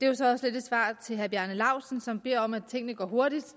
jo så også lidt et svar til herre bjarne laustsen som beder om at tingene går hurtigt